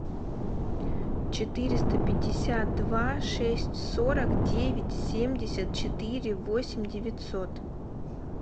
четыреста пятьдесят два шесть сорок девять семьдесят четыре восемь девятьсот